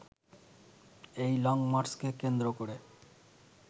এই লংমার্চকে কেন্দ্র করে